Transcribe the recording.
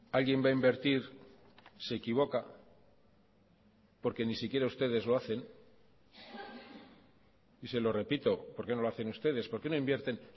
alguien va a invertir se equivoca porque ni siquiera ustedes lo hacen y se lo repito por qué no lo hacen ustedes por qué no invierten